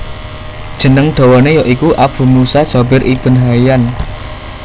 Jeneng dawane ya iku Abu Musa Jabir Ibn Haiyan